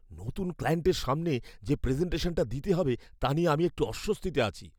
নতুন ক্লায়েন্টের সামনে যে প্রেজেন্টেশনটা দিতে হবে, তা নিয়ে আমি একটু অস্বস্তিতে আছি।